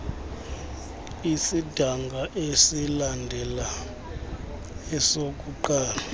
esidanga esilandela esokuqala